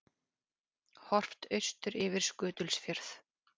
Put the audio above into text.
Horft austur yfir Skutulsfjörð.